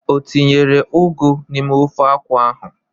O tinyere ụgụ n'ime ofe akwụ ahụ?